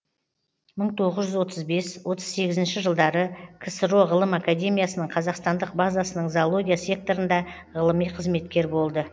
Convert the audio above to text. мың тоғыз жүз отыз бес отыз сегізінші жылдары ксро ғылым академиясының қазақстандық базасының зоология секторында ғылыми қызметкер болды